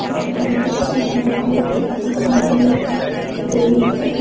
यह बोहोत अच्छा हरा-हरा दिख रहा है। दूर तक --